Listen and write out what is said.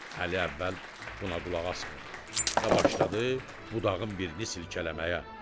Əli əvvəl buna qulaq asmadı və başladı budağın birini silkələməyə.